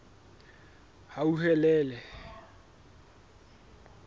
hauhelele